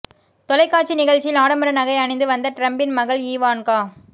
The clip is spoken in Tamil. தொலைக்காட்சி நிகழ்ச்சியில் ஆடம்பர நகை அணிந்து வந்த டிரம்பின் மகள் ஈவான்கா